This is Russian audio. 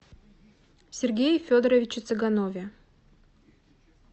сергее федоровиче цыганове